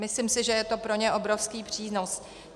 Myslím si, že je to pro ně obrovský přínos.